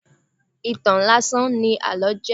Ìtàn láásán ní àlọ́ jẹ́.